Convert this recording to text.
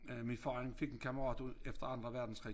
Øh min far han fik en kammerat ud efter Anden Verdenskrig